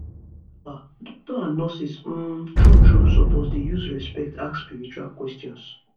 ah doctors and nurses um true true suppose dey use respect ask spiritual questions